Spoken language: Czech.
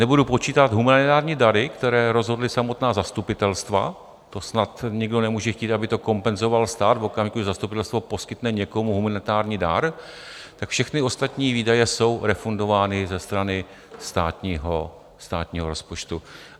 Nebudu počítat humanitární dary, které rozhodla samotná zastupitelstva, to snad nikdo nemůže chtít, aby to kompenzoval stát v okamžiku, kdy zastupitelstvo poskytne někomu humanitární dar, tak všechny ostatní výdaje jsou refundovány ze strany státního rozpočtu.